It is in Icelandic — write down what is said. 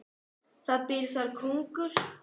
Það býr þar kóngur.